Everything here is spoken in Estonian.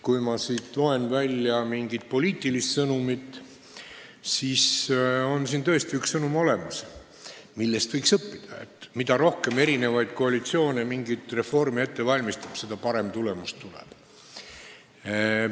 Kui ma tahan siit välja lugeda mingit poliitilist sõnumit, siis tõesti on olemas üks sõnum, millest võiks õppida: mida rohkem erinevaid koalitsioone mingit reformi ette valmistab, seda parem tulemus tuleb.